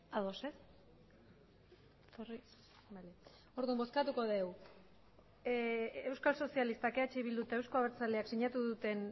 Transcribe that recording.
ados ez orduan bozkatuko dugu euskal sozialistak eh bildu eta euzko abertzaleak sinatu duten